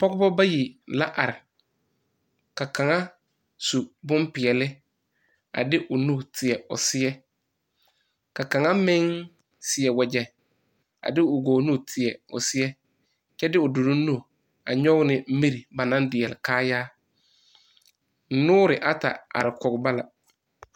Pogeba bayi la are. Ka kang su boŋ piɛle a de o nu teɛ o seɛ. Ka kang meŋ seɛ wagye a de o goɔ nu teɛ o seɛ kyɛ de o duro nu a yoɔge ne mir ba na diɛle kaaya. Noore ata are kɔge ba la.